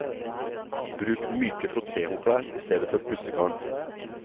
Bruk myke frottéhåndklær i stedet for pussegarn.